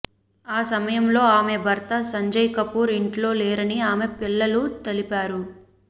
ఆ సమయంలో ఆమె భర్త సంజయ్ కపూర్ ఇంట్లో లేరని ఆమె పిల్లలు తెలిపారు